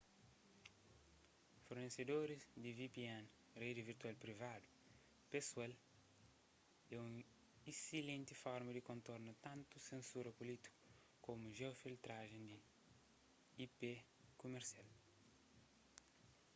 fornesedoris di vpn redi virtual privadu pesoal é un essilenti forma di kontorna tantu sensura pulítiku komu jeo-filtrajen di ip kumersial